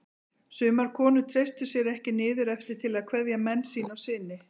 Sumar konur treystu sér ekki niður eftir til að kveðja menn sína og syni.